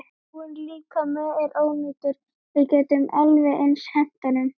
Dáinn líkami er ónýtur, við getum alveg eins hent honum.